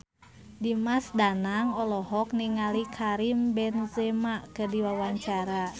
Dimas Danang olohok ningali Karim Benzema keur diwawancara